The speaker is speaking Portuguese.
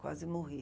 Quase morri.